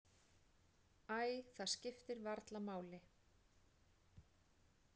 Æ, það skiptir varla máli.